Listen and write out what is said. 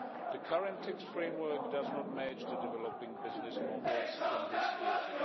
The current tax framework does not match the developing business models in this era.